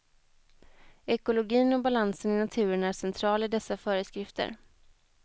Ekologin och balansen i naturen är central i dessa föreskrifter.